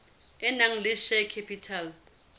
e nang le share capital